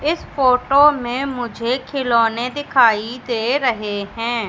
इस फोटो में मुझे खिलौने दिखाई दे रहे हैं।